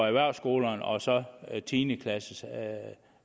erhversskolerne og så tiende klasse